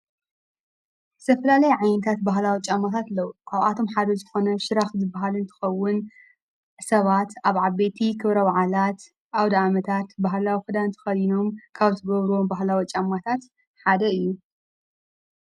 ሰፍላለይ ዓይንታት በህላዊ ፃማታትለዉ ካብኣቶም ሓደ ዝኾነ ሽራኽ ዝበሃልን ትኸውን ሰባት ኣብ ዓበቲ ኽብረው ዓላት ኣው ደኣመታት በህላዊ ኽዳንቲ ኸዲኖም ካብዝጐብሩም ባህላዊጫማታት ሓደ እዩ።